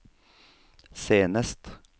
senest